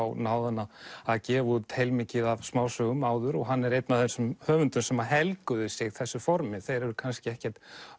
náði hann að gefa út heilmikið af smásögum og hann er einn af þessum höfundum sem helguðu sig þessu formi þeir eru kannski ekkert